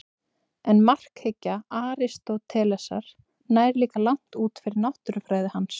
En markhyggja Aristótelesar nær líka langt út fyrir náttúrufræði hans.